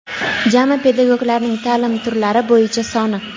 Jami pedagoglarning taʼlim turlari bo‘yicha soni:.